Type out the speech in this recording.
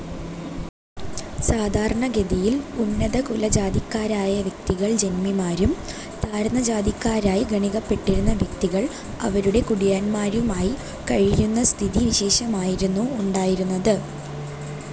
സാധാരണഗതിയിൽ ഉന്നതകുലജാതിക്കാരായ വ്യക്തികൾ ജന്മിമാരും താഴ്ന്നജാതിക്കാരായി ഗണിക്കപ്പെട്ടിരുന്ന വ്യക്തികൾ അവരുടെ കുടിയാന്മാരുമായി കഴിയുന്ന സ്ഥിതിവിശേഷമായിരുന്നു ഉണ്ടായിരുന്നത്.